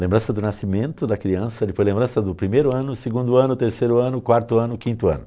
Lembrança do nascimento da criança, depois lembrança do primeiro ano, segundo ano, terceiro ano, quarto ano, quinto ano.